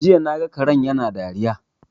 Jiya naga karen yana dariya